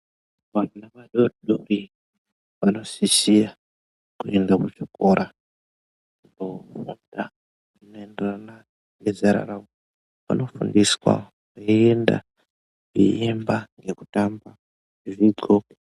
Vana vadodori vanosisira kuenda kuchikora kofunda kunoenderana nezera ravo. Vanofundiswa veienda, veiemba, ngekutamba zviriko.